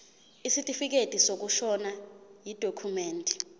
isitifikedi sokushona yidokhumende